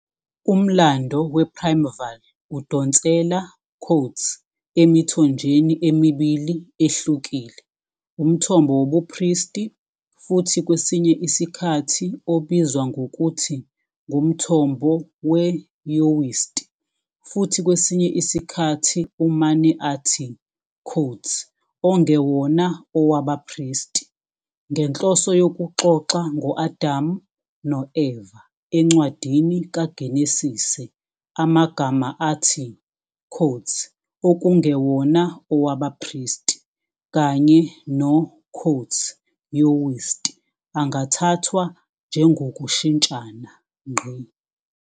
Umlando wePrimeval udonsela "emithonjeni" emibili ehlukile, umthombo wobupristi futhi kwesinye isikhathi obizwa ngokuthi ngumthombo weYahwist futhi kwesinye isikhathi umane athi "ongewona owabaPristi", ngenhloso yokuxoxa ngo-Adam no-Eva eNcwadini kaGenesise amagama athi "okungewona owabaPristi" kanye no- "Yahwist" angathathwa njengokushintshana.